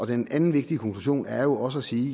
den anden vigtige konklusion er jo også at sige